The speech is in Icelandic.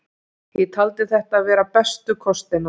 Ég taldi þetta vera bestu kostina.